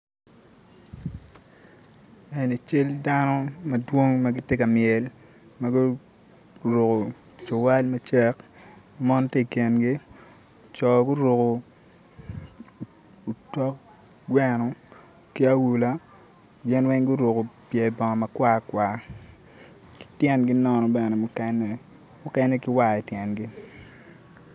Eni cal dano madwong magitye i myel ma guruko cuwal macek mon tye i kingi coo guruko otok gweno ki awula gin weng guruko pye bongo makwarkwar ki tyengi nono bene mukene, mukene ki war ityengi